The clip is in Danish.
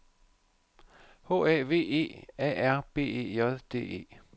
H A V E A R B E J D E